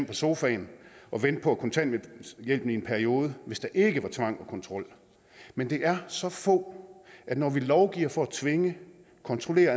på sofaen og vente på kontanthjælpen i en periode hvis der ikke var tvang og kontrol men det er så få at når vi lovgiver for at tvinge kontrollere